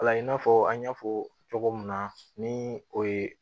La i n'a fɔ an y'a fɔ cogo min na ni o ye